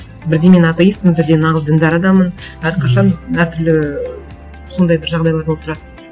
бірде мен атеистпін бірде нағыз діндар адаммын әрқашан әртүрлі сондай бір жағдайлар болып тұрады